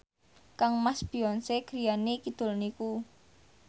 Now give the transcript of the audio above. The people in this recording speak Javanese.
kangmas Beyonce griyane kidul niku